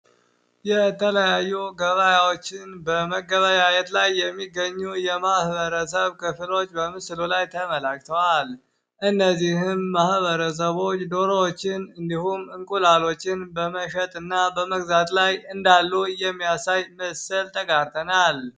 የተለያዩ ገበያዎችን በመገበያየት ላይ የሚገኙ የማህበረሰብ ክፍሎች ላይ ተመላክተዋል እነዚህም በምስሉ ማበረሰቦች ዶሮዎችን እንደዚሁም እንቁላሎችን በመሸጥና በመግዛት ላይ ያሉ ሰዎችን ምስል ተጋርተናል።